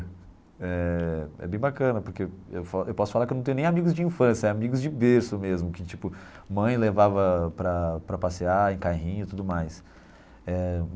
Eh é bem bacana, porque eu fa eu posso falar que eu não tenho nem amigos de infância, é amigos de berço mesmo, que tipo, mãe levava para para passear em carrinho e tudo mais eh.